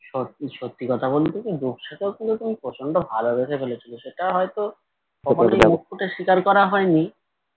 সত্যি সত্যি কথা বলতে কি রূপসাকেও কিন্তু তুমি প্রচণ্ড ভালোবেসে ফেলেছিলে সেটা হয়ত কখনোই মুখ ফুটে স্বীকার করা হয়নি